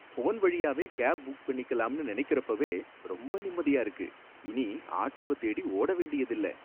Phone வழியாவே cab book பண்ணிக்கலாம்னு நனைக்கறப்பவே ரொம்ப நிம்மதியா இருக்கு. இனி ஆட்டோவ தேடி ஓட வேண்டியதில்ல.